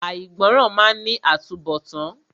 Àìgbọràn máa ní àtúnbọ̀tán.